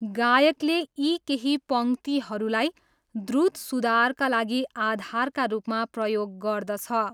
गायकले यी केही पङ्क्तिहरूलाई द्रुत सुधारका लागि आधारका रूपमा प्रयोग गर्दछ।